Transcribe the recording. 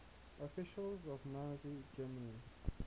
officials of nazi germany